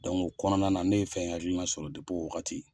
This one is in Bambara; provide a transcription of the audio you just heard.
Dɔnku o kɔnɔna na ne ye fɛ in hakilina ma sɔrɔ depi o wagati